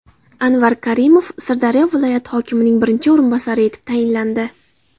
Anvar Karimov Sirdaryo viloyati hokimining birinchi o‘rinbosari etib tayinlandi.